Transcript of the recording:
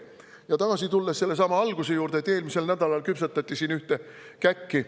Tulen tagasi alguse juurde, selle juurde, et eelmisel nädalal küpsetati siin ühte käkki.